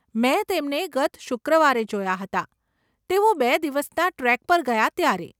મેં તેમને ગત શુક્રવારે જોયા હતા, તેઓ બે દિવસના ટ્રેક પર ગયા ત્યારે.